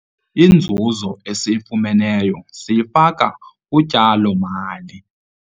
Inzuzo esiyifumeneyo siyifake kutyalo-mali.